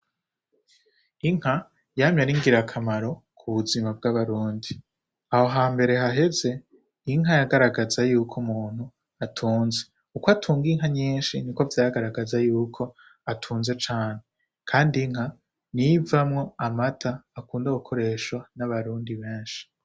Inka yamye ari ngira akamaro k'ubuzima bwa barundi. Aho hambere haheze, inka yagaragaza yuko umuntu atunze. Uko atunga inka nyinshi niko vyagaragaza yuko atunze cane kandi inka niyo ivamwo amata akunda gukoreshwa n'abarundi benshi.